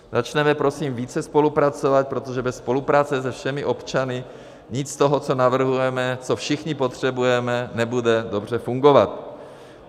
Začněme, prosím, více spolupracovat, protože bez spolupráce se všemi občany nic z toho, co navrhujeme, co všichni potřebujeme, nebude dobře fungovat.